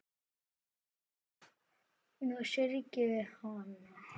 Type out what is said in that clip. Nú syrgjum við hana.